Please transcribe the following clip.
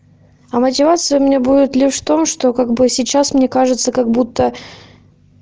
а мотивация у меня будет лишь в том что как бы сейчас мне кажется как будто